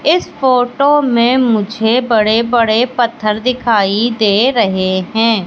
इस फोटो मे मुझे बड़े बड़े पत्थर दिखाई दे रहे है।